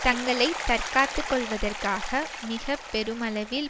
தங்களை தற்காத்து கொள்வதற்காக மிக பெருமளவில்